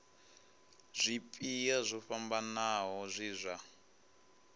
zwipia zwo fhambanaho zwe zwa